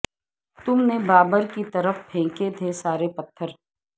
تم نے بابر کی طرف پھینکے تھے سارے پتھر